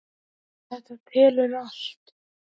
Þetta telur allt.